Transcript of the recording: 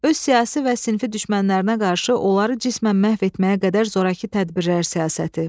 öz siyasi və sinfi düşmənlərinə qarşı onları cismən məhv etməyə qədər zorakı tədbirlər siyasəti.